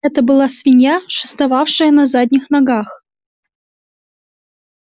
это была свинья шествовавшая на задних ногах